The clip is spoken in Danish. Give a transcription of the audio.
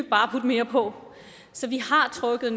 bare putte mere på så vi har trukket